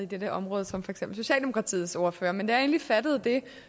dette område som for eksempel socialdemokratiets ordfører men da jeg endelig fattede det